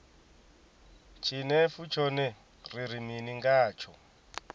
tshinefu tshone ri ri mini ngatsho